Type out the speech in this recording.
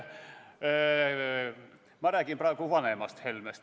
Ma räägin praegu vanemast Helmest.